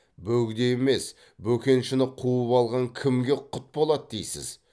бөгде емес бөкеншіні қуып алған кімге құт болады дейсіз